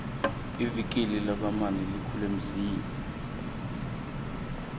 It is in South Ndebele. ivikili lakwamani likhule msinya